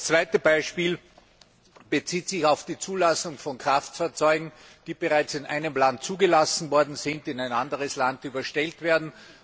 Das zweite Beispiel bezieht sich auf die Zulassung von Kraftfahrzeugen, die bereits in einem Land zugelassen worden sind und in ein anderes Land überstellt werden.